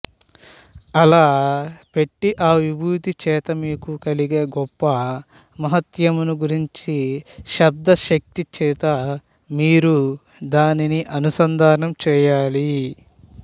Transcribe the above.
అలా పెట్టి ఆ విభూతి చేత మీకు కలిగే గొప్ప మహాత్మ్యమును గురించి శబ్దశక్తిచేత మీరు దానిని అనుసంధానం చేయాలి